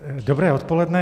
Dobré odpoledne.